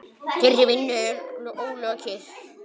Þeirri vinnu er ólokið.